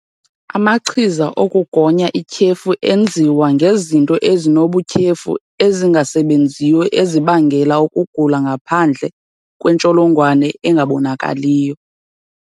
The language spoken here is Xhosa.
Amachiza okugonya ityhefu enziwa ngezinto ezinobutyhefu ezingasebenziyo ezibangela ukugula ngaphandle kwe-ntsholongwane engabonakaliyo.